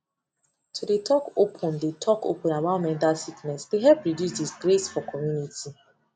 to dey talk open de talk open about mental sickness de help reduce disgrace for community